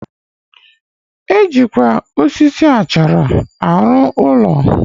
Ejikwa achara alu ulo.